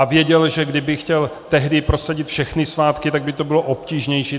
A věděl, že kdyby chtěl tehdy prosadit všechny svátky, tak by to bylo obtížnější.